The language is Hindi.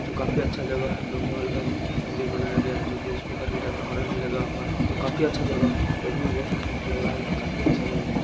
तो काफ़ी अच्छा जगह है जो महल का मंदिर बनाया गया है जो की स्पीकर भी लगा हुआ है ऑरेंज भी लगा हुआ है तो काफ़ी अच्छा जगह है देखने में बहुत स्मार्ट लग रहा है काफ़ी अच्छा जगह है।